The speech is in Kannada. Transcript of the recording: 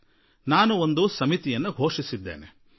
ನಾನು ಒಂದು ಸಮಿತಿ ರಚನೆಯ ಘೋಷಣೆ ಮಾಡಿರುವೆ